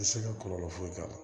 I tɛ se ka kɔlɔlɔ foyi k'a la